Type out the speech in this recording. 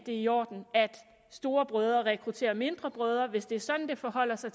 er i orden at storebrødre rekrutterer mindre brødre tahrir hvis det er sådan det forholder sig